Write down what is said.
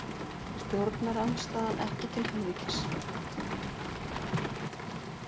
Stjórnarandstaðan ekki til helvítis